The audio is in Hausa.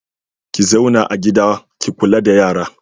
Ki zauna a gida ki kula da yara.